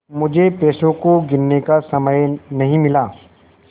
मुझे पैसों को गिनने का समय नहीं मिला